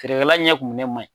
Feerekɛlaɲɛ kumunen man ɲi